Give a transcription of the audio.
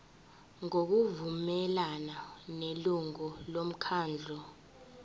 ngokuvumelana nelungu lomkhandlu